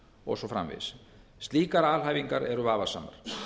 og svo framvegis slíkar alhæfingar eru vafasamar